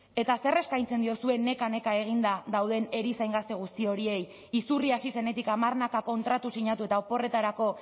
eta zer eskaintzen diozue neka neka eginda dauden erizain gazte guzti horiei izurri hasi zenetik hamarnaka kontratu sinatu eta oporretarako